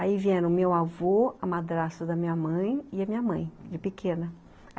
Aí vieram meu avô, a madrasta da minha mãe e a minha mãe, de pequena.